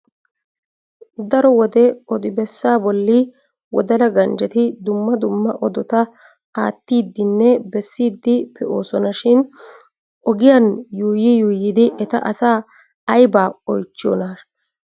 Daro wode odi bessaa bolli wodala ganjeti dumma dumma odota aattidinne besiiddi pe'oosona shin ogiyan yuuyi yuuyidi eti asaa aybaa oychchiyoonaa?